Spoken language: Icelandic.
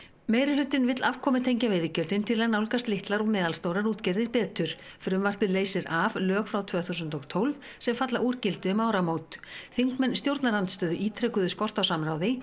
meirihlutinn vill afkomutengja veiðigjöldin til að nálgast litlar og meðalstórar útgerðir betur frumvarpið leysir af lög frá tvö þúsund og tólf sem falla úr gildi um áramót þingmenn stjórnarandstöðu ítrekuðu skort á samráði